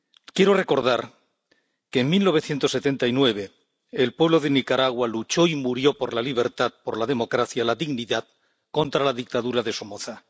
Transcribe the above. Quiero recordar que en 1979 el pueblo de Nicaragua luchó y murió por la libertad, por la democracia, por la dignidad, contra la dictadura de Somoza.